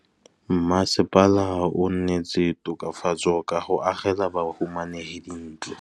Mmasepala o neetse tokafatsô ka go agela bahumanegi dintlo.